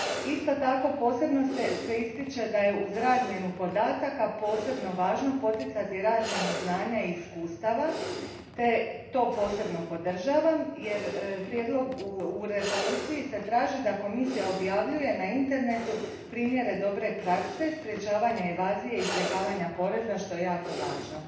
Isto tako, posebno se ističe da je uz razmjenu podataka posebno važno poticati razmjenu znanja i iskustava te to posebno podržavam jer se u Rezoluciji traži da Komisija objavljuje na internetu primjere dobre prakse sprečavanja evazije i izbjegavanja poreza, što je jako važno.